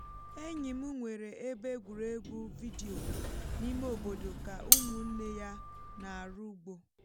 enyi m nwere ebe egwuregwu vidiyo n’ime obodo ka ụmụnne ya na-arụ ugbo